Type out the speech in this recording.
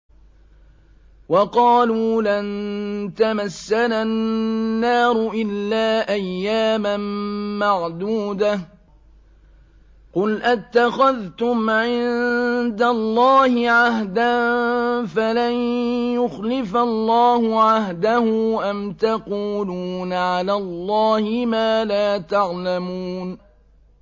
وَقَالُوا لَن تَمَسَّنَا النَّارُ إِلَّا أَيَّامًا مَّعْدُودَةً ۚ قُلْ أَتَّخَذْتُمْ عِندَ اللَّهِ عَهْدًا فَلَن يُخْلِفَ اللَّهُ عَهْدَهُ ۖ أَمْ تَقُولُونَ عَلَى اللَّهِ مَا لَا تَعْلَمُونَ